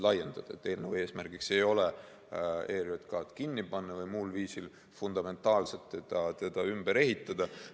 Eelnõu eesmärk ei ole ERJK‑d kinni panna või muul viisil fundamentaalselt teda ümber ehitada.